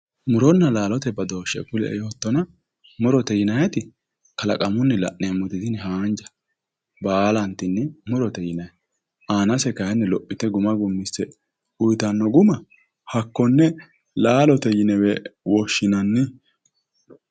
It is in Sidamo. Muronna laalote badooshe kulie yoottonna murote yinnanniti kalaqamunni la'neemmote tini haanja baallantinni murote yinnanni aanase kayinni lophite guma gumise uyittano guma hakkone laalote yinewe woshshinanni.